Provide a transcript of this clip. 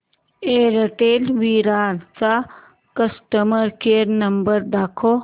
Airtel Virar चा customer care number दाखव